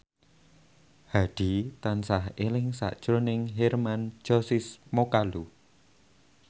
Hadi tansah eling sakjroning Hermann Josis Mokalu